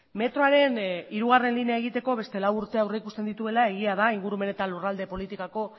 metroaren hirugarrena linea egiteko beste lau urte aurreikusten dituela egia da ingurumen eta lurralde politikako